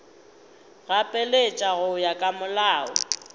gapeletša go ya ka molao